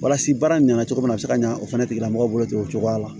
Walasa baara ɲina cogo min na a be se ka ɲa o fɛnɛ tigila mɔgɔ bolo ten o cogoya la